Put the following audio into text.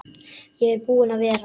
Ég er búinn að vera.